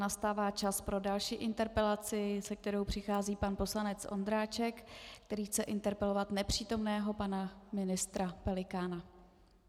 Nastává čas pro další interpelaci, se kterou přichází pan poslanec Ondráček, který chce interpelovat nepřítomného pana ministra Pelikána.